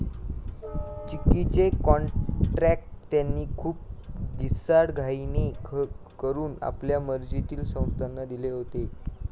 चिक्कीचे कॉत्र्याक त्यांनी खूप घिसाडघाईने करून आपल्या मर्जीतील संस्थाना दिले होते.